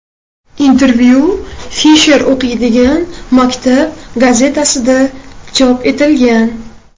Intervyu Fisher o‘qiydigan maktab gazetasida chop etilgan.